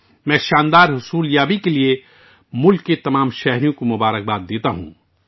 میں تمام ہم وطنوں کو اس شاندار کام یابی کے لیے مبارکباد دیتا ہوں